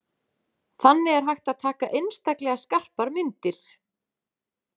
Þannig er hægt að taka einstaklega skarpar myndir.